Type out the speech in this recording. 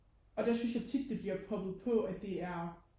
og der synes jeg tit det bliver poppet på at det er